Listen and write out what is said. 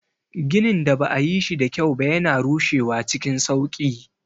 Ginin da ba a yi shi da kyau ba yana rushewa cikin sauƙi.